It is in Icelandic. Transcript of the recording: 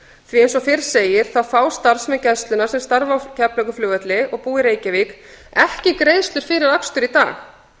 því að eins og fyrr segir þá fá starfsmenn gæslunnar sem starfa á keflavíkurflugvelli og búa í reykjavík ekki greiðslur fyrir akstur í dag